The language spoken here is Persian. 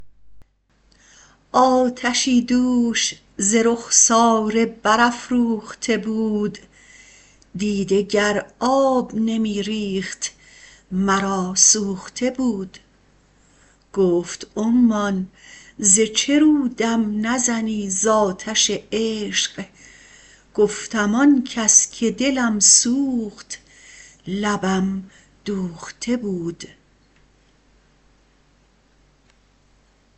آتشی دوش ز رخساره برافروخته بود دیده گر آب نمی ریخت مرا سوخته بود گفت عمان ز چه رو دم نزنی ز آتش عشق گفتم آن کس که دلم سوخت لبم دوخته بود